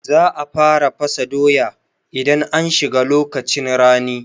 Za a fara fasa doya idan an shiga lokacin rani